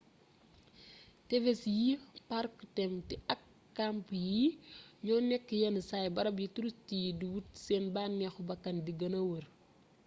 tefes yi parku tem ti ak kamp yi ñoo nekk yennsaay barab yi turist yi di wut seen banneexu bakkan di gëna wër